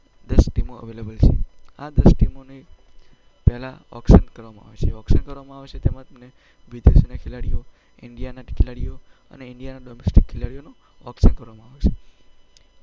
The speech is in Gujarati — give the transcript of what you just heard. દસ ટીમો અવેલેબલ છે. આ દસ ટીમો માટે પહેલાં ઑક્શન કરવામાં આવે છે. જે ઑક્શન કરવામાં આવે છે તેમાં તમને વિદેશના ખેલાડીઓ, ઈન્ડિયાના ખેલાડીઓ અને ઈન્ડિયાના ડોમેસ્ટિક ખેલાડીઓનું ઑક્શન કરવામાં આવે છે.